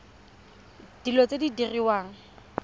tsa dilo tse di diriwang